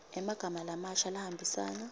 emagama lamasha lahambisana